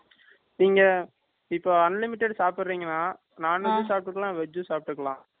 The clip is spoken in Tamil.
நீங்க இப்ப unlimited சாப்பிறீங்களா non veg சாப்பிட்டுக்கலாம் veg யும் சாப்பிட்டுக்கலாம்